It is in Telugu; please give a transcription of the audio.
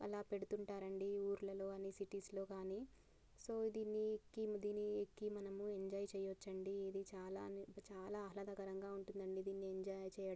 అలా పెడుతుంటారండీ ఊర్లలో గాని సిటీస్ లో గాని దీని మీదకి ఎక్కే ఎంజాయ్ చేయొచ్చండి ఇది చాలా చాలా ఆహ్లాదకరంగా ఉంటుందండి ఎంజాయ్ చెయ్--